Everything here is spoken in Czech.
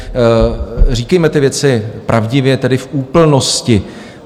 Říkejme ty věci pravdivě, tedy v úplnosti.